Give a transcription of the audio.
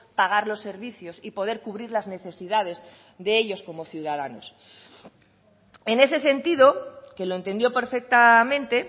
pagar los servicios y poder cubrir las necesidades de ellos como ciudadanos en ese sentido que lo entendió perfectamente